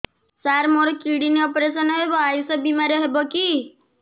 ସାର ମୋର kidney operation ହେବ ଆୟୁଷ ବିମାରେ ହେବ କି